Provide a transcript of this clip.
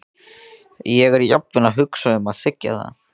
Ég er jafnvel að hugsa um að þiggja það.